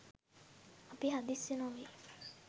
අපි හදිස්සි නොවී